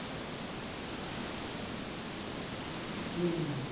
হুম হুম হম